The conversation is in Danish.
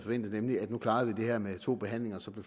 nemlig at nu klarede vi det her med to behandlinger og så blev